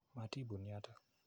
Matii pun yotok.